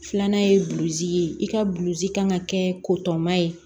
Filanan ye buligi ye i ka bulzi kan ka kɛ komama ye